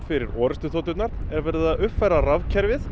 fyrir orrustuþoturnar er verið að uppfæra rafkerfið